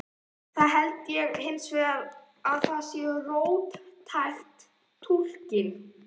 Það held ég hins vegar að sé of róttæk túlkun.